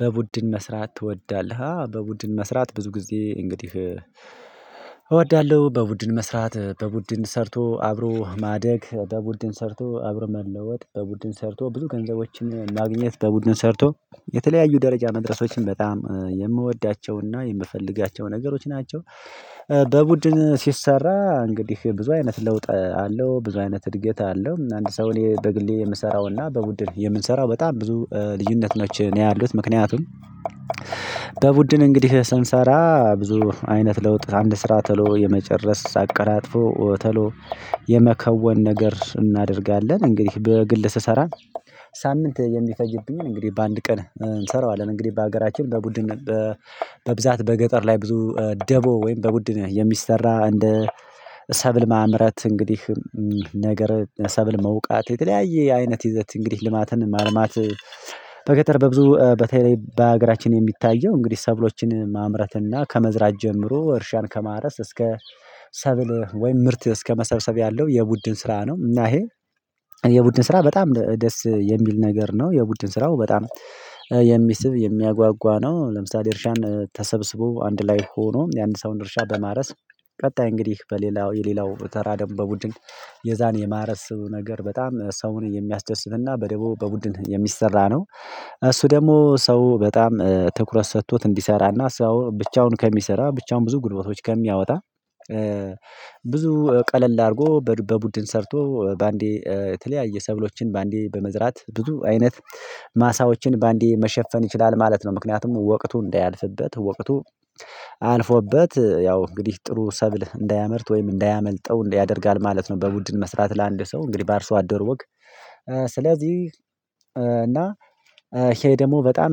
በቡድን መስራት ትወዳለህ? አዎ በቡድን መስራት ብዙ ጊዜ እንግዲህ እወዳለሁ። በቡድን መስራት በቡድን ሰርቶ አብሮ ማደግ በቡድን ሰርቶ አብሮ መለወጥ በቡድን ሰርቶ ብዙ ገንዘቦችን ማግኘት በቡድን ሰርቶ የተለያዩ ደረጃ መድረሶችን በጣም የምወዳቸውና የምፈልጋቸው ነገሮች ናቸው። በቡድን ሲሰራ እንግዲህ ብዙ አይነት ለውጥ አለው ብዙ አይነት እድገት አለው አንድ ሰው እኔ በግሌ የምሰራውና በቡድን የምንሰራው በጣም ብዙ ልዩነት ነው። ያሉት ምክንያቱም በቡድን እንግዲህ ስንሰራ ብዙ አይነት ለውጥ አንድ ስራ ተሎ የመጨረስ አቀላጥፎ ተሎ የመከወን ነገር እናደርጋለን። እንግዲህ በግል ስሰራ ሳምንት የሚፈጅብኝን እንግዲህ በአንድ ቀን እንሰራዋለን። እንግዲህ በሀገራችን በቡድን በብዛት በገጠር ላይ ብዙ ደቦ ወይም በቡድን የሚሰራ እንደ ሰብል ማምረት እንግዲህ ነገር ሰብል መውቃት የተለያየ አይነት ይዘት እንግዲህ ልማትን ማልማት በገጠር በብዙ በተለይ በሀገራችን የሚታየው እንግዲህ ሰብሎችን ማምረትና ከመዝራት ጀምሮ እርሻን ከማረስ እስከ ሰብል ወይም ምርት እስከመሰብሰብ ያለው የቡድን ስራ ነው። እና ይሄ የቡድን ስራ በጣም ደስ የሚል ነገር ነው። የቡድን ስራው በጣም የሚስብ የሚያጓጓ ነው። ለምሳሌ እርሻን ተሰብስቦ አንድ ላይ ሆኖ የአንድ ሰው እርሻ በማረስ ቀጣይ እንግዲህ በሌላው የሌላው ተራ ደግሞ በቡድን የዛን የማረስ ነገር በጣም ሰውን የሚያስደስትና በደቡብ በቡድን የሚሰራ ነው። እሱ ደግሞ ሰው በጣም ትኩረት ሰጥቶት እንዲሰራና ሰው ብቻውን ከሚሰራ ብቻውን ብዙ ጉልበቶች ከሚያወጣ ብዙ ቀለል አድርጎ በቡድን ሰርቶ በአንዴ የተለያየ ሰብሎችን በአንዴ በመዝራት ብዙ አይነት ማሳዎችን በአንዴ መሸፈን ይችላል ማለት ነው። ምክንያቱም ወቅቱ እንዳያልፍበት ወቅቱ አልፎበት ያው እንግዲህ ጥሩ ሰብል እንዳያመርት ወይም እንዳያመልጠው ያደርጋል ማለት ነው። በቡድን መስራት ለአንድ ሰው እንግዲህ በአርሶ አደር ወግ ስለዚህ እና ይሄ ደግሞ በጣም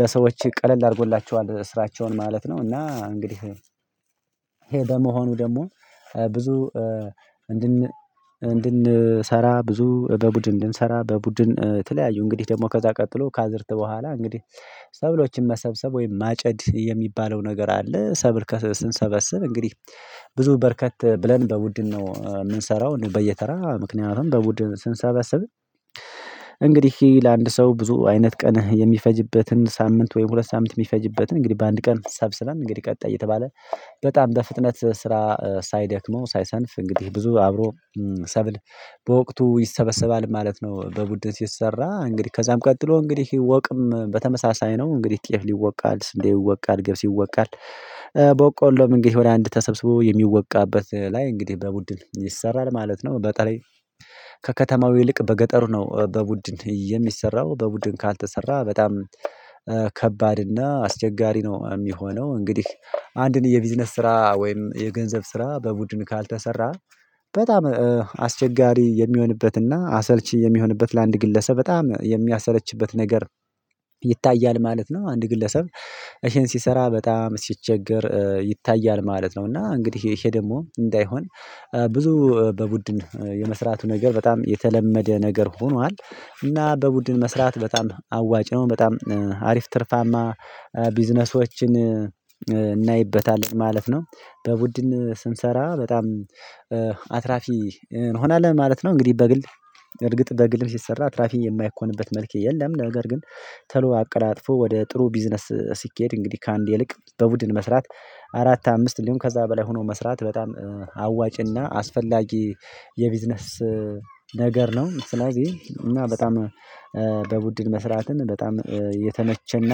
ለሰዎች ቀለል አድርጎላቸዋል ስራቸውን ማለት ነው። እና እንግዲህ ይሄ በመሆኑ ደግሞ ብዙ እንድን እንድንሰራ ብዙ በቡድን እንድንሰራ በቡድን ተለያዩ እንግዲህ ደግሞ ከዛ ቀጥሎ ከአዝርት በኋላ እንግዲህ ሰብሎችን መሰብሰብ ወይም ማጨድ የሚባለው ነገር አለ። ሰብል ስንሰበስብ እንግዲህ ብዙ በረከት ብለን በቡድን ነው የምንሰራው። በየተራ ምክንያቱም በቡድን ስንሰብስብ እንግዲህ ለአንድ ሰው ብዙ አይነት ቀን የሚፈጅበትን ሳምንት ወይም ሁለት ሳምንት የሚፈጅበትን እንግዲህ በአንድ ቀን ሰብስበን እንግዲህ ቀጣይ እየተባለ በጣም በፍጥነት ስራ ሳይደክመው ሳይሰንፍ እንግዲህ ብዙ አብሮ ሰብል በወቅቱ ይሰበሰባል ማለት ነው። በቡድን ሲሰራ እንግዲህ ከዛም ቀጥሎ እንግዲህ ወቅም በተመሳሳይ ነው እንግዲህ ጤፍ ይወቃል ስንዴ ይወቃል ገብስ ይወቃል ቦቆሎም እንግዲህ ወደ አንድ ተሰብስቦ የሚወቃበት ላይ እንግዲህ በቡድን ይሰራል ማለት ነው። በተላይ ከከተማው ይልቅ በገጠሩ ነው በቡድን የሚሰራው በቡድን ካልተሰራ በጣም ከባድ እና አስቸጋሪ ነው የሚሆነው። እንግዲህ አንድን የቢዝነስ ስራ ወይም የገንዘብ ስራ በቡድን ካልተሰራ በጣም አስቸጋሪ የሚሆንበትና አሰልቺ የሚሆንበት ለአንድ ግለሰብ በጣም የሚያሰለችበት ነገር ይታያል ማለት ነው። አንድ ግለሰብ እሄን ሲሰራ በጣም ሲቸገር ይታያል ማለት ነው። እና እንግዲህ ይሄ ደግሞ እንዳይሆን ብዙ በቡድን የመስራቱ ነገር በጣም የተለመደ ነገር ሆኗል። እና በቡድን መስራት በጣም አዋጭ ነው በጣም አሪፍ ትርፋማ ቢዝነሶችን እናይበታለን ማለት ነው። በቡድን ስንሰራ በጣም አትራፊ እንሆናለን ማለት ነው። እንግዲህ በግል እርግጥ በግልም ሲሰራ አትራፊ የማይኮንበት መልክ የለም ነገር ግን ተሎ አቀላጥፎ ወደ ጥሩ ቢዝነስ ሲኬድ እንግዲህ ከአንድ ይልቅ በቡድን መስራት አራት አምስት እንዲሁም ከዛ በላይ ሆኖ መስራት በጣም አዋጪና አስፈላጊ የቢዝነስ ነገር ነው። ስለዚህ እና በጣም በቡድን መስራትን በጣም የተመቸና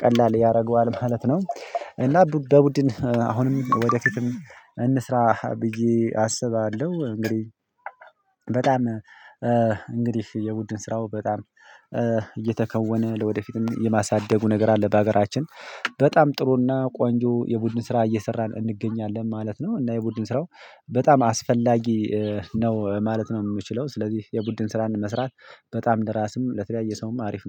ቀላል ያደርገዋል ማለት ነው። እና በቡድን አሁንም ወደ ፊትም እንስራ ብዬ አስባለሁ። እንግዲህ በጣም እንግዲህ የቡድን ስራው በጣም እየተከወነ ለወደፊትም የማሳደጉ ነገር አለ በሀገራችን በጣም ጥሩና ቆንጆ የቡድን ስራ እየሰራን እንገኛለን ማለት ነው። እና የቡድን ስራው በጣም አስፈላጊ ነው ማለት ነው። የምችለው ስለዚህ የቡድን ስራን መስራት በጣም ለራስም ለተለያየ ሰውም አሪፍ ነው